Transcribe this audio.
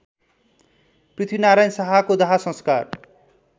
पृथ्वीनारायण शाहको दाहसंस्कार